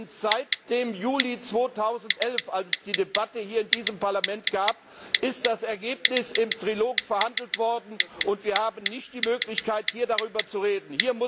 Denn seit dem Juli 2011, als es die Debatte hier in diesem Parlament gab, ist das Ergebnis im Trilog verhandelt worden, und wir haben nicht die Möglichkeit, hier darüber zu reden.